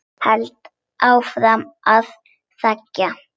Held áfram að þegja.